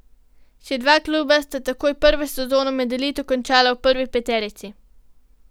Še dva kluba sta takoj prvo sezono med elito končala v prvi peterici.